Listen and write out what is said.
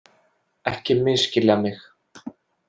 Ekki misskilja mig